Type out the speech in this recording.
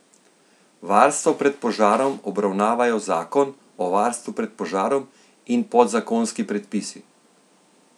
Varstvo pred požarom obravnavajo zakon o varstvu pred požarom in podzakonski predpisi.